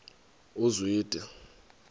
uzwide